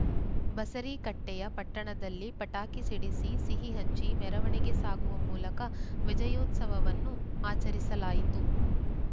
ಬಸರೀಕಟ್ಟೆಯ ಪಟ್ಟಣದಲ್ಲಿ ಪಟಾಕಿ ಸಿಡಿಸಿ ಸಿಹಿಹಂಚಿ ಮೆರವಣಿಗೆ ಸಾಗುವ ಮೂಲಕ ವಿಜಯೋತ್ಸವವನ್ನು ಆಚರಿಸಲಾಯಿತು